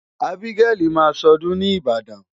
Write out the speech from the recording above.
Ábígẹ́lì máa ṣọdún ni Ìbàdàn.